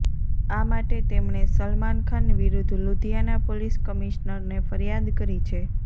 આ માટે તેમણે સલમાન ખાન વિરુદ્ધ લુધિયાના પોલીસ કમિશ્નરને ફરિયાદ કરી છે